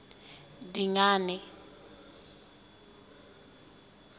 dingane